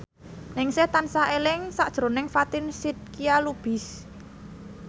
Ningsih tansah eling sakjroning Fatin Shidqia Lubis